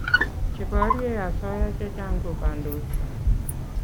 che porie asoya chechang ko kandoik